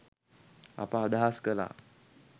අප අදහස් කලා.